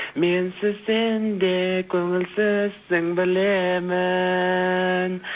менсіз сенде көңілсізсің білемін